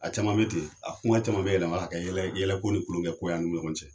A caman bɛ ten , a kuma caman bɛ yɛlɛma, ka kɛ yɛlɛko ni kulonkɛ ko y'an ni ɲɔgɔn cɛ.